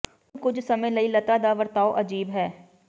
ਹੁਣ ਕੁਝ ਸਮੇਂ ਲਈ ਲਤਾ ਦਾ ਵਰਤਾਓ ਅਜੀਬ ਹੈ